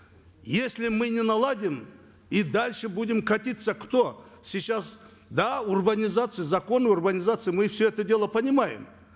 если мы не наладим и дальше будем катиться кто сейчас да урбанизация законы урбанизации мы все это дело понимаем